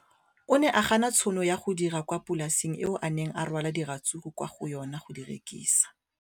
O ne a gana tšhono ya go dira kwa polaseng eo a neng rwala diratsuru kwa go yona go di rekisa.